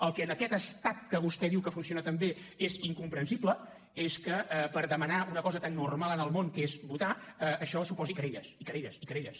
el que en aquest estat que vostè diu que funciona tan bé és incomprensible és que demanar una cosa tan normal en el món com és votar suposi querelles i querelles i querelles